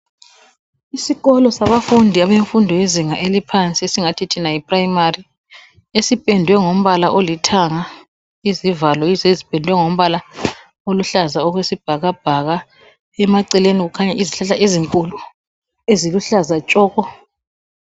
Isikolo sabafundi abemfundo yezinga eliphansi esingathi thina yiprimary esipendwe ngombala olithanga, izivalo yizo ezipendwe ngombala oluhlaza okwesibhakabhaka, emaceleni kukhanya izihlahla ezinkulu eziluhlaza tshoko.